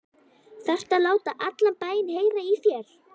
ÞARFTU AÐ LÁTA ALLAN BÆINN HEYRA Í ÞÉR!